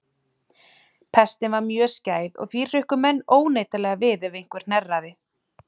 Pestin var mjög skæð og því hrukku menn óneitanlega við ef einhver hnerraði.